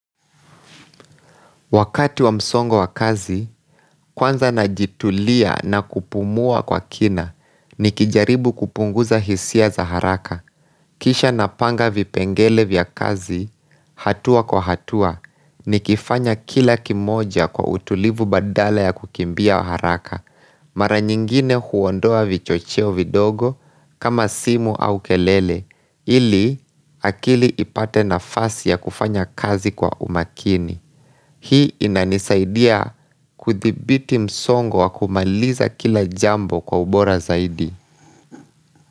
Wakati wa msongo wa kazi, kwanza najitulia na kupumua kwa kina ni kijaribu kupunguza hisia za haraka. Kisha napanga vipengele vya kazi, hatua kwa hatua, ni kifanya kila kimoja kwa utulivu badala ya kukimbia haraka. Mara nyingine huondoa vichocheo vidogo kama simu au kelele, ili akili ipate na fasi ya kufanya kazi kwa umakini. Hii inanisaidia kudhibiti msongo wa kumaliza kila jambo kwa ubora zaidi.